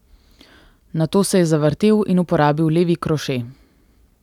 Nato se je zavrtel in uporabil levi kroše.